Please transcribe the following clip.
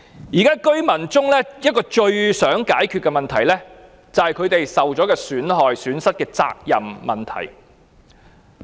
現在居民最想解決的問題是他們遭受損失的責任誰屬。